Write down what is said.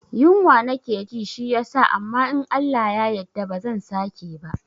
Yunwa nake ji shi yasa amma in Allah ya yadda ba zan sake bah